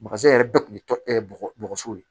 yɛrɛ bɛɛ kun ye tɔ bɔgɔso ye